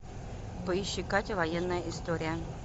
поищи катя военная история